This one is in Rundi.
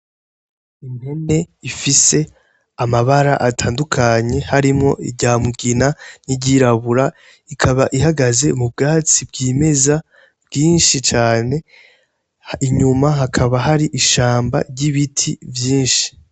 Impene ifise amabara atandukanye harimwo irya mugina niry'irabura ikaba ihagaze mu bwatsi bw'imeza bwinshi cane inyuma hakaba har'ishamba ry'ibiti vyinshi.